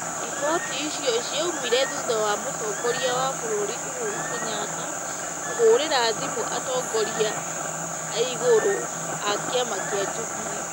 Riboti icio ciaumire thutha wa mũtongoria wa bũrũri Uhuru Kenyatta kũhũrĩra thimũ atongoria aigũrũ a kĩama kĩa Jubilee,